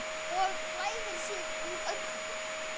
Og klæðir sig úr öllu!